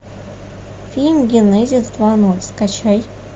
фильм генезис два ноль скачай